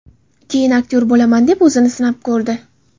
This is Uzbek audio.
Keyin aktyor bo‘laman deb o‘zini sinab ko‘rdi.